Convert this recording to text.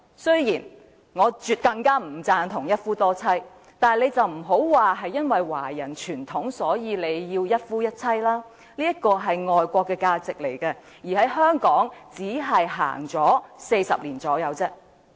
雖然我絕不贊同一夫多妻，但他們不要把華人傳統是一夫一妻來作為反對的理由，這是外國的價值觀，在香港也只是實行了40年左右。